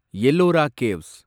Ellora caves